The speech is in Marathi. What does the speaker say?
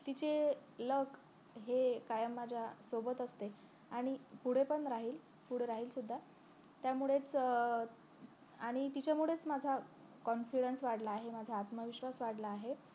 तिचे luck हे कायम माझ्या सोबत असते आणि पुढ पण राहील पुढ राहील सुद्धा त्यामुळेच आणि तिच्यामुळेच माझा confidence वाढला आहे माझा आत्मविश्वास वाढला आहे